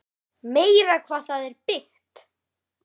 Meira hvað það er byggt!